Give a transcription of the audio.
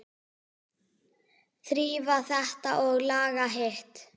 Þrífa þetta og laga hitt.